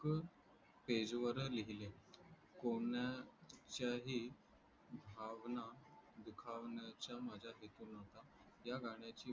page वर लिहले कोणाच्याही भावना दुखावण्याच्या माझ्या हेतू नव्हता या गण्याची